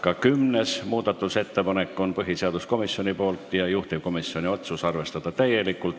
Ka kümnes muudatusettepanek on põhiseaduskomisjonilt, juhtivkomisjoni otsus: arvestada täielikult.